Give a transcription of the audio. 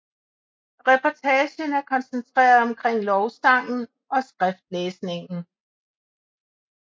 Reportagen er koncentreret omkring lovsangen og skriftlæsningen